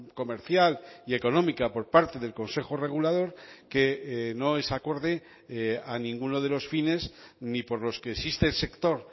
comercial y económica por parte del consejo regulador que no es acorde a ninguno de los fines ni por los que existe el sector